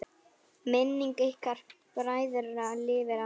Minning ykkar bræðra lifir alltaf!